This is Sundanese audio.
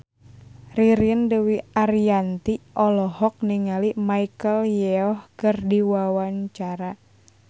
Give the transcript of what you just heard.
Ririn Dwi Ariyanti olohok ningali Michelle Yeoh keur diwawancara